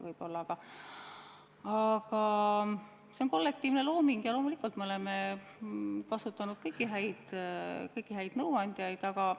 See on kollektiivne looming ja loomulikult me oleme kasutanud kõiki häid nõuandjaid.